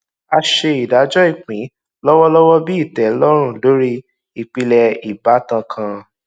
a ṣe ìdájọ ìpín lọwọlọwọ bí ìtẹlọrùn lórí ìpìlẹ ìbátan kan